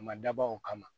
A ma dabɔ o kama